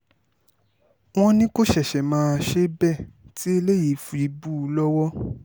wọ́n ní kó ṣẹ̀ṣẹ̀ máa ṣe bẹ́ẹ̀ tí eléyìí fi bù ú lọ́wọ́